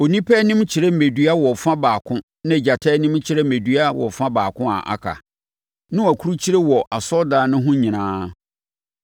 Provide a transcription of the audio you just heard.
Onipa anim kyerɛ mmɛdua wɔ fa baako na gyata anim kyerɛ mmɛdua wɔ fa baako a aka. Na wɔakurukyire wɔ asɔredan no ho nyinaa.